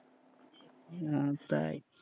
হম তাই,